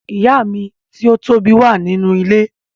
Ìyá mi ti o tobi wa nínú ilé.